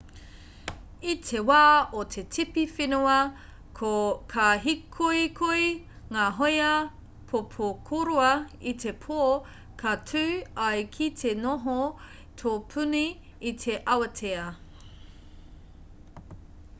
i te wā o te tipi whenua ka hīkoikoi ngā hōia pōpokorua i te pō ka tū ai ki te noho tōpuni i te awatea